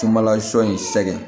Sunbalasɔ in sɛgɛn